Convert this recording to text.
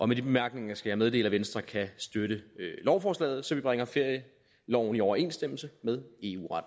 med de bemærkninger skal jeg meddele at venstre kan støtte lovforslaget så vi bringer ferieloven i overensstemmelse med